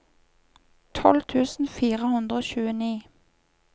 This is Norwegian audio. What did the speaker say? tolv tusen fire hundre og tjueni